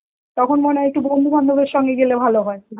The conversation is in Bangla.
তখন মনে হয় একটু বন্ধু বান্ধবের সঙ্গে গেলে ভালো হয়